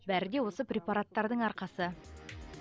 бәрі де осы препараттардың арқасы